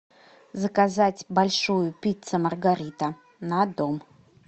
заказать большую пицца маргарита на дом